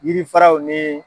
Yiri faraw nii.